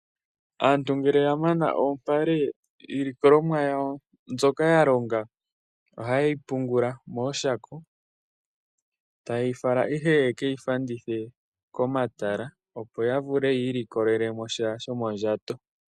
Aantu ngele yamana oompale iilikolomwa yawo mbyoka ya longa oha yeyi pungula mooshako. Tayeyi fala ihe yekeyi fandithe komatala opo ya vule yi ilikolele sha shomondjato.